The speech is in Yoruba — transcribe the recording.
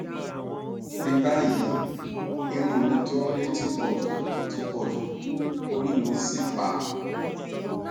ní báyìí irun mi tó ń re ti pọjù ti pọjù orí mì sì pá